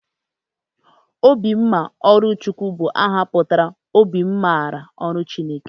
Obimmaọlụchukwu bụ aha pụtara 'obi m maara ọrụ Chineke.